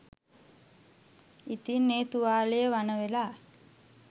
ඉතින් ඒ තුවාලය වණ වෙලා